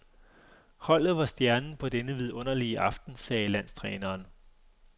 Holdet var stjernen på denne vidunderlige aften, sagde landstræneren.